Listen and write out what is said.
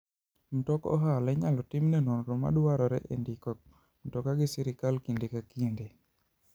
Mtok ohala inyalo timne nonro mar dwarore e ndiko mtoka gi sirkal kinde ka kinde.